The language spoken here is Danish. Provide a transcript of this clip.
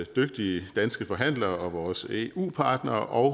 dygtige danske forhandlere og vores eu partnere og